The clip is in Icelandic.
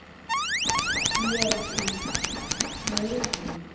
Nú er ég í prufum.